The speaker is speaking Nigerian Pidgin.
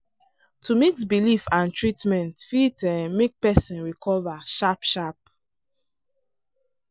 to mix belief and treatment fit um make person recover sharp-sharp.